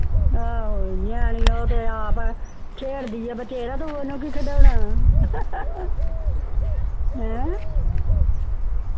ਹਾਂ ਨਿਆਣੀ ਉਹ ਤੇ ਆਪ ਆ ਛੇਡ਼ ਦੀ ਆ ਬਥੇਰੇ ਤੇ ਓਹਨੂੰ ਕਿ ਖਿਡੌਣਾ ਹੈ